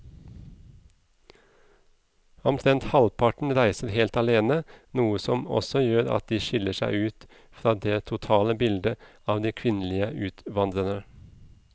Omtrent halvparten reiser helt alene, noe som også gjør at de skiller seg ut fra det totale bildet av de kvinnelige utvandrerne.